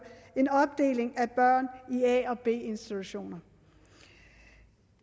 en opdeling af børn i a og b institutioner